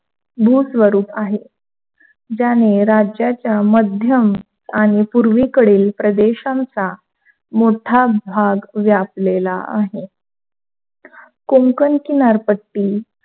भू स्वरूप आहे, ज्याने राज्याच्या मध्यम आणि पूर्वेकडील प्रदेशाचा मोठा भाग व्यापलेला आहे. कोंकण किनारपट्टी,